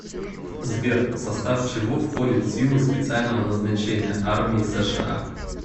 сбер в состав чего входит силы специального назначения армии сша